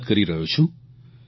હું વાત કરી રહ્યો છું